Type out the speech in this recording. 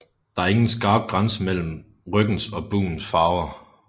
Der er ingen skarp grænse mellem ryggens og bugens farver